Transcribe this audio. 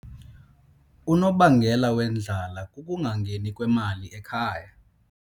Unobangela wendlala kukungangeni kwemali ekhaya.